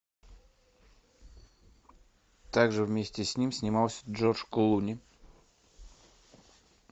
так же вместе с ним снимался джордж клуни